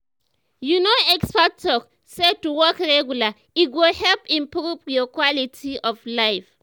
you know experts talk say to walk regular e go help improve your quality of life.